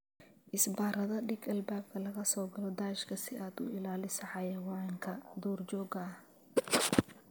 Isbaarada dhig albaabka laga soo galo daashka si aad uga ilaaliso xayawaanka duurjoogta ah.